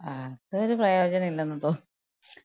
അതൊരു പ്രയോജനില്ലെന്ന് തോന്ന്ന്നു.